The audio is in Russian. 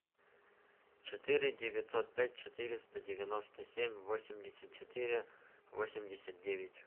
четыре девятьсот пять четыреста девяносто семь восемьдесят четыре восемьдесят девять